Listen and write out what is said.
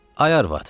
Ay arvad.